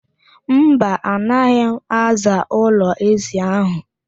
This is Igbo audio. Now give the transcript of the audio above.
Mba, anaghị m aza ụlọ ézì ahụ.